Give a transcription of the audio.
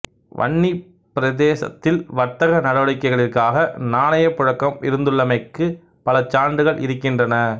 வன்னிப்பிரதேசத்தில் வர்த்தக நடவடிக்கைகளிற்காக நாணயப் புழக்கம் இருந்துள்ளமைக்கு பல சான்றுகள் இருக்கின்றன